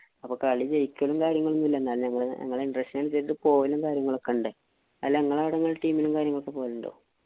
അപ്പൊ കളി ജയിക്കലും, കാര്യങ്ങളുമൊന്നുമില്ല. എന്നാലും ഞങ്ങടെ interest അനുസരിച്ചു പോകലും കാര്യങ്ങളും ഒക്കെ ഉണ്ട്. അല്ല നിങ്ങടവിടെ team ഇലും കാര്യങ്ങളും പോകലുണ്ടോ?